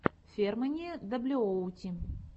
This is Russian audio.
фермани даблюоути